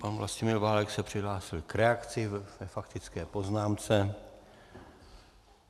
Pan Vlastimil Válek se přihlásil k reakci ve faktické poznámce.